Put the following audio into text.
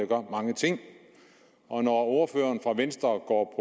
gør mange ting og når ordføreren fra venstre går